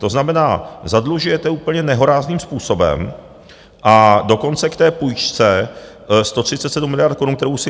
To znamená, zadlužujete úplně nehorázným způsobem, a dokonce k té půjčce 137 miliard korun, kterou si...